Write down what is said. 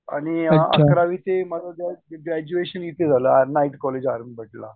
आणि अकरावी ते माझं ज्यावेळेस ग्रेजयुशेंन येथेझालं night college R M Bhat ला